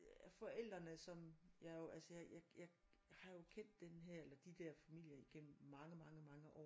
Forældrene som jeg jo altså jeg jeg har jo kendt den her eller de der familier i gennem mange mange mange år